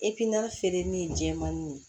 feereli ye jɛman nin ye